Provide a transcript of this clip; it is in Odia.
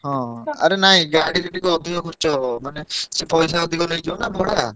ହଁ ଆରେ ନାଇଁ ଗାଡିରେ ଟିକେ ଅଧିକା ଖର୍ଚ ହବ ମାନେ ସିଏ ପଇସା ଅଧିକ ନେଇଯିବ ନା ଭଡା।